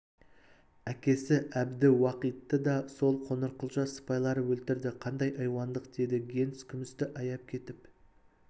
әкесі әбдіуақитты да сол қоңырқұлжа сыпайлары өлтірді қандай айуандық деді генс күмісті аяп кетіп